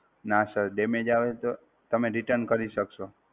નાં Sir, damage આવે તો, તમે Return કરી સકશો!